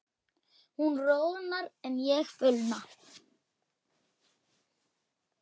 Hún roðnar en ég fölna.